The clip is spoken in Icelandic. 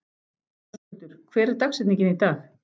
Höskuldur, hver er dagsetningin í dag?